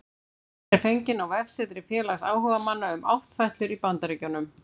Myndin er fengin á vefsetri félags áhugamanna um áttfætlur í Bandaríkjunum